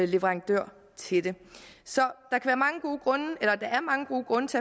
leverandør til det så der er mange gode grunde til at